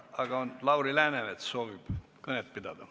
Aga Lauri Läänemets soovib kõnet pidada.